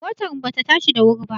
Motar mu ba ta tashi da wuri ba